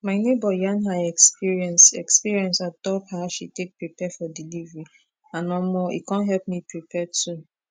my neighbor yarn her experience experience on top how she take prepare for delivery and omo e con help me prepare too